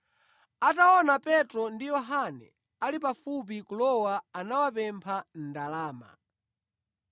Ataona Petro ndi Yohane ali pafupi kulowa anawapempha ndalama.